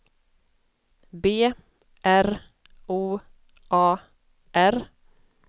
B R O A R